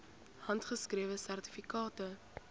handgeskrewe sertifikate